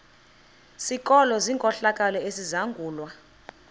sikolo senkohlakalo esizangulwa